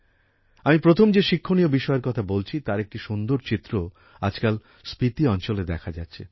আমি প্রথম যে শিক্ষনীয় বিষয়ের কথা বলছি তার একটি সুন্দর চিত্র আজকাল স্পিতি অঞ্চলে দেখা যাচ্ছে